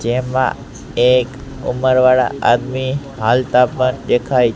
જેમા એક ઉમરવાડા આદમી હાલતા પણ દેખાય--